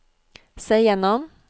se gjennom